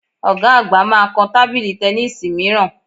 Ọ̀ga àgbà máa kan tábìlì tẹníìsì mìíràn